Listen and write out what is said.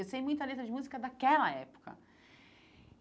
Eu sei muita letra de música daquela época.